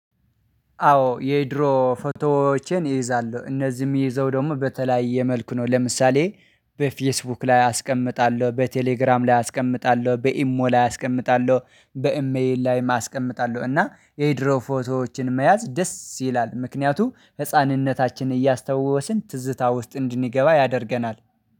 አዎ የድሮ ፎቶዎቼን እይዛለሁሉ እነዚህንም የምይዘው ደግሞ በተለያየ መልኩ ነው። ለምሳሌ በፌስቡክ ላይ አስቀምጣለሁ በቴሌግራም ላይ አስቀምጣለሁ በኢሞ ላይ አስቀምጣለሁ በኢሜል ላይ ም አስቀመጥአለሁ። እና የድሮ ፎቶዎችን መያዝ ደስ ይላል። ምክንያቱ ህፃንነታችን እያስታወስን ትዝታ ውስጥ እንድንገባ ያደርገናል